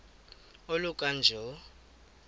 oluka ka njl